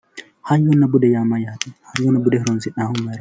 hayyonna bude yaa mayyaate hayyonna bude horonsi'nayihu mayiraati